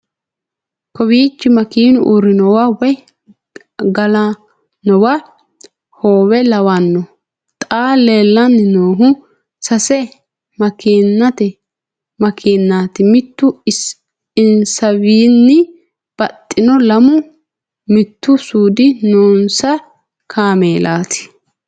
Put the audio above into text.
kawiichi makeenu uurranowa woy galannowa hoowe lawanno xa leellanni noohu sase makeenaati mittu insawiinnni baxxanno lamu mittu suudi noonsa kaameelati